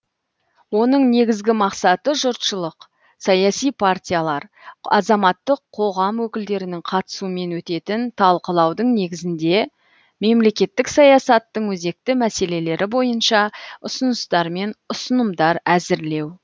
оның негізгі мақсаты жұртшылық саяси партиялар азаматтық қоғам өкілдерінің қатысуымен өтетін талқылаудың негізінде мемлекеттік саясаттың өзекті мәселелері бойынша ұсыныстар мен ұсынымдар әзірлеу